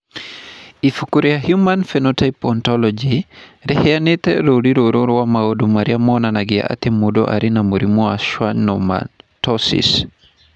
Ibuku rĩa Human Phenotype Ontology rĩheanĩte rũũri rũrũ rwa maũndũ marĩa monanagia atĩ mũndũ arĩ na mũrimũ wa Schwannomatosis.